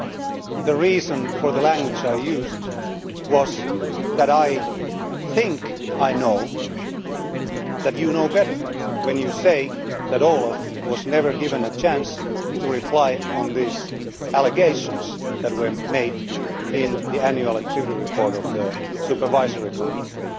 Mr Pirinski, the reason for the language I used was that I think I know that you know better when you say that OLAF was never given a chance to reply to the allegations that were made in the annual activity report of the Supervisory Committee.